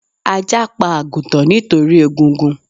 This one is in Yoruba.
Ajá pa àgùtàn nítorí egungun